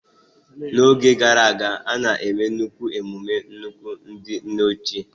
N'oge gara aga, a na-eme nnukwu emume nnukwu ndị nne ochie.